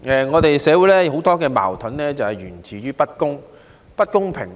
我們的社會有很多矛盾就是源自不公平。